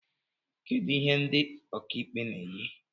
Kedu ihe ndị okaikpe na-eyi